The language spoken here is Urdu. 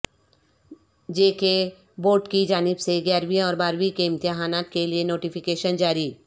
جے کے بورڈ کی جانب سے گیارہویں اور بارہویں کے امتحانات کیلئے نوٹفکیشن جاری